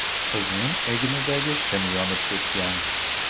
Qizning egnidagi shim yonib ketgan.